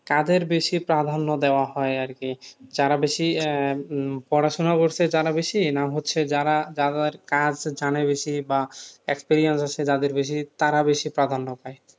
কাজের বেশি প্রাধান্য দেওয়া হয় আরকি, যারা বেশি আহ পড়াশোনা করছে তারা বেশি, না হচ্ছে যারা কাজ জানে বেশি বা experience আছে, যাদের বেশি তারা বেশি প্রাধান্য পায়,